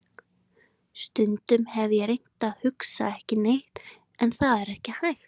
Stundum hef ég reynt að hugsa ekki neitt en það er ekki hægt.